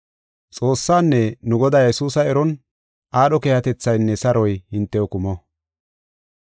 Xoossaanne nu Godaa Yesuusa eron aadho keehatethaynne saroy hintew kumo.